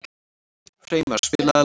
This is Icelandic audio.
Freymar, spilaðu lag.